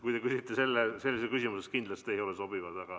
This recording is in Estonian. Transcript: Kui te küsite sellise küsimuse, siis kindlasti ei ole sobivad.